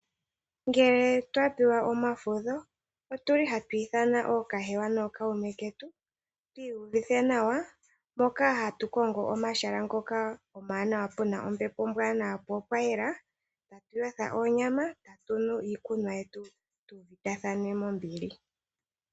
Ngele twapewa omafudho otuli hatu iithana ookahewa nokuume ketu, tu iyuvithe nawa mpoka hatu kongo omahala ngoka omawanawa puna ombepo ombwaanawa po opwayela, atu yotha onyama atu nu iikunwa yetu, tu uvitathane mombili.